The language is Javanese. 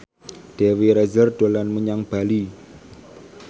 Dewi Rezer dolan menyang Bali